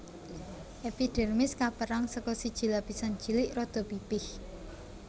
Èpidèrmis kapérang saka siji lapisan cilik rada pipih